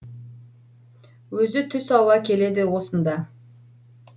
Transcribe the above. өзі түс ауа келеді осында